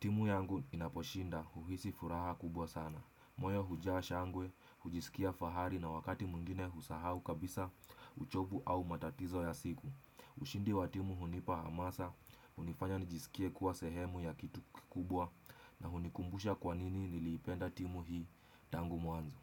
timu yangu inaposhinda huhisi furaha kubwa sana moyo hujaa shangwe, hujisikia fahari na wakati mwingine husahau kabisa uchovu au matatizo ya siku ushindi wa timu hunipa hamasa, hunifanya nijisikie kuwa sehemu ya kitu kikubwa na hunikumbusha kwanini nilipenda timu hii, tangu mwanzo.